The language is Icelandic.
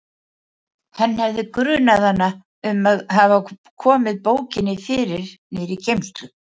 Hann hafði grunað hana um að hafa komið bókinni fyrir niðri í geymslu.